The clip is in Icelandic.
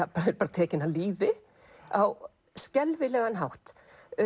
tekin af lífi á skelfilegan hátt